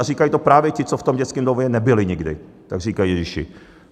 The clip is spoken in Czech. A říkají to právě ti, co v tom dětském domově nebyli nikdy, tak říkají "ježiši".